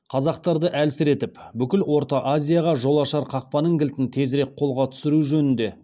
қазақтарды әлсіретіп бүкіл орта азияға жол ашар қақпаның кілтін тезірек қолға түсіру жөнінде